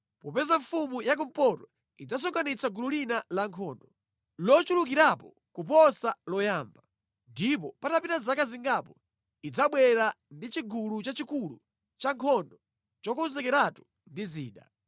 Popeza mfumu ya kumpoto idzasonkhanitsa gulu lina lankhondo, lochulukirapo kuposa loyamba; ndipo patapita zaka zingapo idzabwera ndi chigulu chachikulu cha nkhondo chokonzekeratu ndi zida.